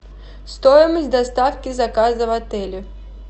стоимость доставки заказа в отеле